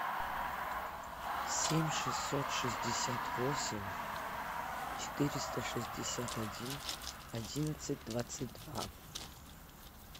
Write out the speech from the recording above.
семь шестьсот шестьдесят восемь четыреста шестьдесят один одиннадцать двадцать два